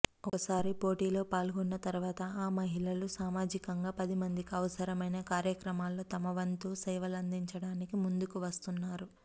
ఒకసారి పోటీలో పాల్గొన్న తర్వాత ఆ మహిళలు సామాజికంగా పదిమందికి అవసరమైన కార్యక్రమాల్లో తమవంతు సేవలందించడానికి ముందుకు వస్తున్నారు